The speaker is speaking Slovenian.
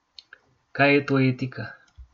Kaj je to etika?